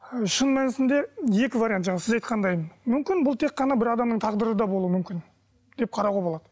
ы шын мәнісінде екі вариант жаңа сіз айтқандай мүмкін бұл тек қана бір адамның тағдыры да болуы мүмкін деп қарауға болады